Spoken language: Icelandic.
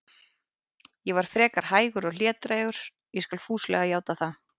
Ég var frekar hægur og hlédrægur, ég skal fúslega játa það.